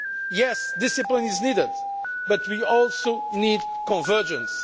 Yes, discipline is needed but we also need convergence.